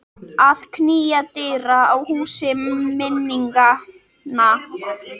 Að knýja dyra á húsi minninganna